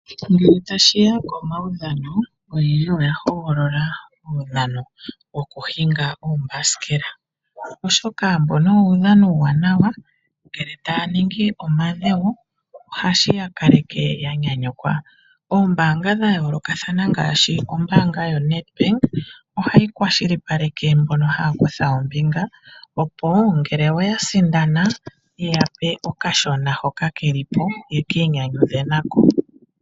Ngele tashiya komaudhano oyendji oya hogolola omaudhano gokuhinga oombasikela. Oshoka mbono owo uudhano uuwanawa ngele taya ningi omadhewo ohashi ya kaleke ya nyanyukwa. Oombaanga dha yoolokathana ngaashi ombaanga yoNedBank ohayi kwashilipaleke mbono haya kutha ombinga opo ngele oya sindana ye yape okashona hono keli po yeki inyanyudhe nako.